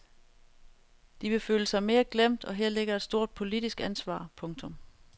De vil føle sig mere glemt og her ligger et stort politisk ansvar. punktum